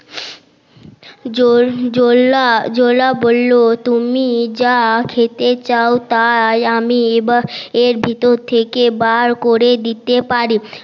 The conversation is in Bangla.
জোলা বললো তুমি জা খেতে চাও তাই আমি এর ভেতর থেকে বার করে দিতে পারি